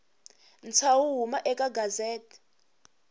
ntshaho wo huma eka gazette